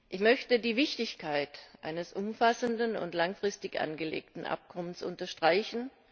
Ich möchte die Wichtigkeit eines umfassenden und langfristig angelegten Abkommens unterstreichen.